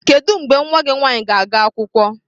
Kedu mgbe nwa gị nwanyị na-aga akwụkwọ?